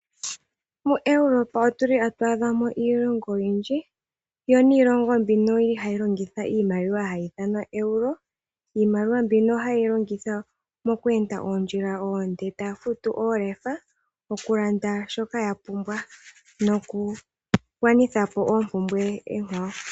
MoEuropa omuna iilongo oyindji noonkondo , yo iilongo yimwe ohayi longitha iimaliwa mbyoka hayi ithanwa euro mbyoka hayilongwitha okufuta iinima oyindji noku gwanithapo iinakugwanithwapo oyindji.